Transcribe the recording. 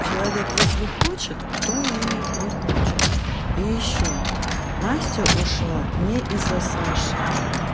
человек если хочет то и он хочет и ещё настя ушла не из-за саши